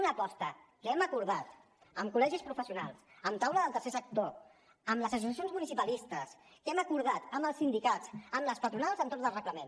una aposta que hem acordat amb col·legis professionals amb la taula del tercer sector amb les associacions municipalistes que hem acordat amb els sindicats amb les patronals entorn del reglament